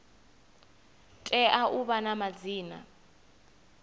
tea u vha na madzina